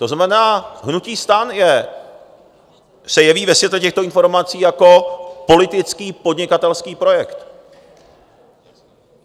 To znamená, hnutí STAN se jeví ve světle těchto informací jako politický podnikatelský projekt.